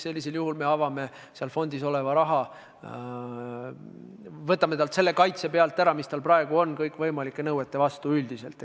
Sellisel juhul me avame fondis oleva raha, võtame talt pealt kaitse, mis tal praegu kõikvõimalike nõuete vastu üldiselt on.